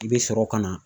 I bɛ sɔrɔ ka na